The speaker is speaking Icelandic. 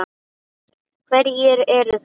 Hverjir eru þar?